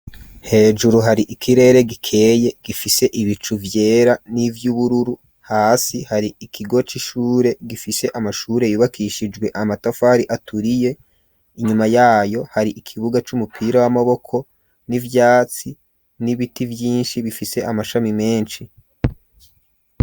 Hejuru hari ikirere gikeye gifise ibicu vyera n'ivy'ubururu hasi hari ikigo c'ishure gifise amashure yubakishijwe amatafari aturiye inyuma yayo hari ikibuga c'umupira w'amaboko n'ivyatsi n'ibiti vyinshi bifise amashami menshi.